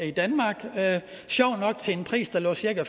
i danmark sjovt nok til en pris der lå cirka